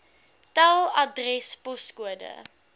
tel adres poskode